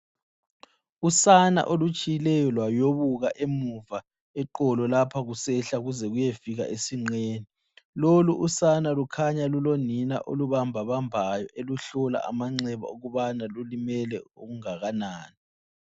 Usana olutshileyo lwayobuka emuva eqolo lapha kusehla kuze kuyefika esinqeni. Lolu usana lukhanya lulonina olubambabambayo eluhlola amanxeba ukubana lulimele okungakanani.